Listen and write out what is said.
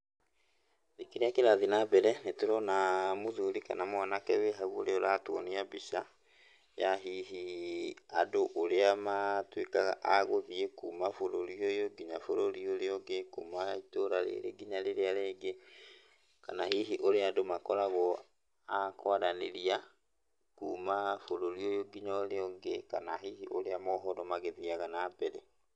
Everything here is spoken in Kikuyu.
kĩrĩa kĩrathiĩ na mbere nĩtũrona mũthuri kana mwanake wĩ hau ũrĩa ũratuonia mbica ya hihi ũrĩa andũ matuĩkaga a gũthiĩ kuma bũrũri ũyũ nginya bũrũri ũria ũngĩ, kuma itũra rĩrĩ nginya rĩrĩa rĩngĩ, kana hihi ũrĩa andũ makoragwo a kwaranĩria kuma bũrũri ũyũ nginya ũrĩa ũngi, kana hihi ũrĩa mohoro magĩthiaga na mbere.